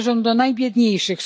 Należą do najbiedniejszych.